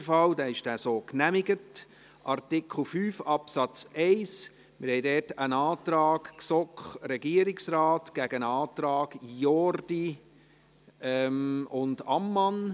Zu Artikel 5 Absatz 1 liegt ein Antrag GSoK / Regierungsrat gegen einen Antrag Jordi und Ammann.